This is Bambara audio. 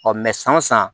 san o san